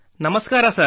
ನಮಸ್ಕಾರ ಸರ್